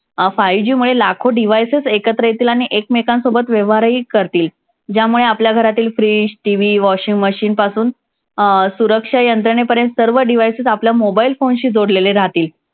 अं five G मुळे लाखो devices एकत्र येतील आणि एकमेकांसोबत व्यवहारही करतील. ज्यामुळे आपल्या घरातील fridge TV washing machine पासून अं सुरक्षा यंत्रणेपर्यंत सर्व devices आपल्या mobile phone शी जोडलेले राहतील.